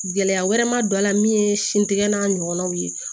Gɛlɛya wɛrɛ ma don a la min ye sin tigɛ n'a ɲɔgɔnnaw ye